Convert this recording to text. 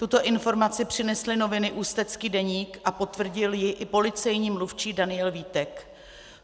Tuto informaci přinesly noviny Ústecký deník a potvrdil ji i policejní mluvčí Daniel Vítek.